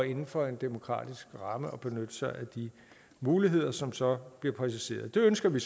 inden for en demokratisk ramme at benytte sig af de muligheder som så bliver præciseret det ønsker vi